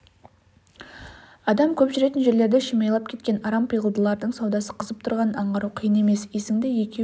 адам көп жүретін жерлерді шимайлап кеткен арам пиғылдылардың саудасы қызып тұрғанын аңғару қиын емес есіңді екеу